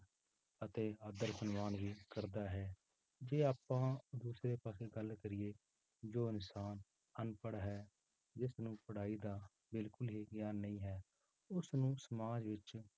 ਤੇ ਆਦਰ ਸਨਮਾਨ ਵੀ ਕਰਦਾ ਹੈ, ਜੇ ਆਪਾਂ ਦੂਸਰੇ ਪਾਸੇ ਗੱਲ ਕਰੀਏ ਜੋ ਇਨਸਾਨ ਅਨਪੜ੍ਹ ਹੈ, ਜਿਸਨੂੰ ਪੜ੍ਹਾਈ ਦਾ ਬਿਲਕੁਲ ਹੀ ਗਿਆਨ ਨਹੀਂ ਹੈ, ਉਸ ਨੂੰ ਸਮਾਜ ਵਿੱਚ